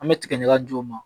An bɛ tigɛ ɲagaju ma